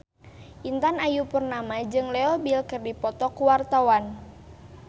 Intan Ayu Purnama jeung Leo Bill keur dipoto ku wartawan